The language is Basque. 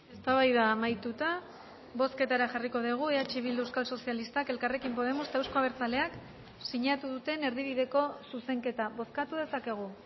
eztabaida amaituta bozketara jarriko dugu eh bildu euskal sozialistak elkarrekin podemos eta euzko abertzaleak sinatu duten erdibideko zuzenketa bozkatu dezakegu